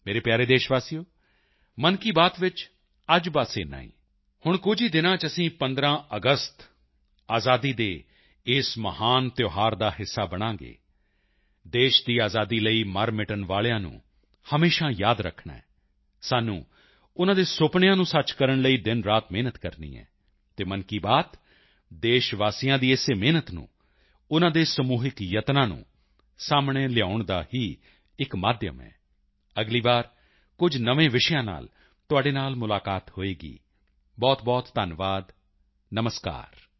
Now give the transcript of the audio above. ਮੇਰੇ ਪਿਆਰੇ ਦੇਸ਼ਵਾਸੀਓ ਮਨ ਕੀ ਬਾਤ ਵਿੱਚ ਅੱਜ ਬਸ ਇੰਨਾ ਹੀ ਹੁਣ ਕੁਝ ਹੀ ਦਿਨਾਂ ਚ ਅਸੀਂ 15 ਅਗਸਤ ਆਜ਼ਾਦੀ ਦੇ ਇਸ ਮਹਾਨ ਤਿਉਹਾਰ ਦਾ ਹਿੱਸਾ ਬਣਾਂਗੇ ਦੇਸ਼ ਦੀ ਆਜ਼ਾਦੀ ਲਈ ਮਰਮਿਟਣ ਵਾਲਿਆਂ ਨੂੰ ਹਮੇਸ਼ਾ ਯਾਦ ਰੱਖਣਾ ਹੈ ਸਾਨੂੰ ਉਨ੍ਹਾਂ ਦੇ ਸੁਪਨਿਆਂ ਨੂੰ ਸੱਚ ਕਰਨ ਲਈ ਦਿਨਰਾਤ ਮਿਹਨਤ ਕਰਨੀ ਹੈ ਅਤੇ ਮਨ ਕੀ ਬਾਤ ਦੇਸ਼ਵਾਸੀਆਂ ਦੀ ਇਸੇ ਮਿਹਨਤ ਨੂੰ ਉਨ੍ਹਾਂ ਦੇ ਸਮੂਹਿਕ ਯਤਨਾਂ ਨੂੰ ਸਾਹਮਣੇ ਲਿਆਉਣ ਦਾ ਹੀ ਇੱਕ ਮਾਧਿਅਮ ਹੈ ਅਗਲੀ ਵਾਰ ਕੁਝ ਨਵੇਂ ਵਿਸ਼ਿਆਂ ਨਾਲ ਤੁਹਾਡੇ ਨਾਲ ਮੁਲਾਕਾਤ ਹੋਵੇਗੀ ਬਹੁਤਬਹੁਤ ਧੰਨਵਾਦ ਨਮਸਕਾਰ